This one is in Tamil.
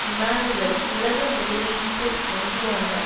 இமானுவல் உலக முதலீட்டு வங்கியான